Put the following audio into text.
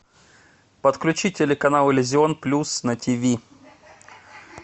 подключи телеканал иллюзион плюс на ти ви